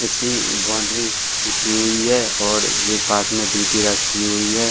इसकी बॉउंड्री खींची हुई है और ये पास में डी.पी. रखी हुई है।